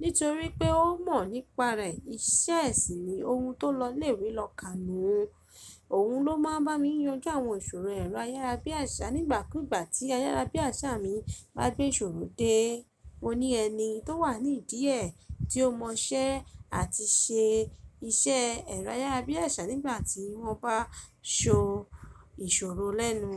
Nítorí pé ó mọ̀ nípa rẹ̀, iṣẹ́ è sì ni ohun tó lọ lè wí lọ kàánú. Òun ló máa ń bá mi yanjú àwọn ìṣòro ẹ̀rọ ayárabíàṣá nígbàkúgbà tí ayárabíàṣá mi bá gbé ìṣòro dé. Ó ní ẹni tó wà ní ìdíẹ̀ tí ó mọ iṣẹ́ àti ṣe iṣẹ́ ẹ̀rọ ayárabíàṣá nígbà tí wọ́n bá so ìṣòro lẹ́nu.